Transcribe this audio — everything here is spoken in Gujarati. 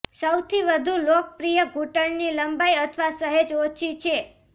સૌથી વધુ લોકપ્રિય ઘૂંટણની લંબાઈ અથવા સહેજ ઓછી છે